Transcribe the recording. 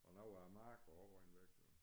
Og noget af æ marke var også røget væk og